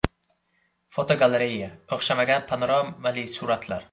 Fotogalereya: O‘xshamagan panoramali suratlar.